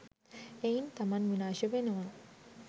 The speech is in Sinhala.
එයින් තමන් විනාශ වෙනවා.